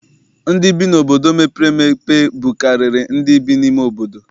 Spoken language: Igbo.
Ndị bi n'obodo mepere emepe bukarịrị ndị bi n'ime obodo.